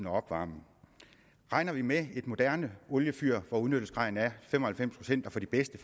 at opvarme regner vi med et moderne oliefyr hvor udnyttelsesgraden er fem og halvfems procent og for de bedste